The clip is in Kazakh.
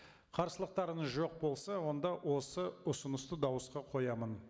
қарсылықтарыңыз жоқ болса онда осы ұсынысты дауысқа қоямын